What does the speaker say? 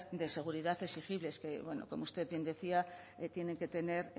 de seguridad exigibles que bueno como usted bien decía que tienen que tener